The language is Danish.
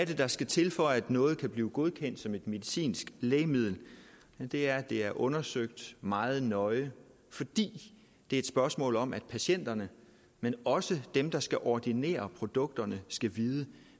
det der skal til for at noget kan blive godkendt som et medicinsk lægemiddel det er at det er undersøgt meget nøje fordi det er et spørgsmål om at patienterne men også dem der skal ordinere produkterne skal vide